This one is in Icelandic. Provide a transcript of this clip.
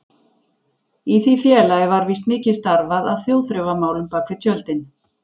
Í því félagi var víst mikið starfað að þjóðþrifamálum bak við tjöldin.